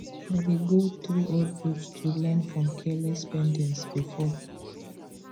i dey go through old books to learn from careless spendings before